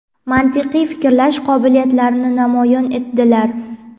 mantiqiy fikrlash qobiliyatlarini namoyon etdilar.